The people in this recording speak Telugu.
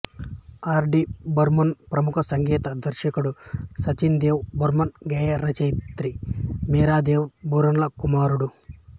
ఆర్ డి బర్మన్ ప్రముఖ సంగీత దర్శకుడు సచిన్ దేవ్ బర్మన్ గేయ రచయిత్రి మీరా దేవ బర్మన్ల కుమారుడు